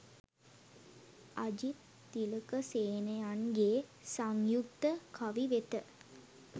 අජිත් තිලකසේනයන්ගේ සංයුක්ත කවි වෙත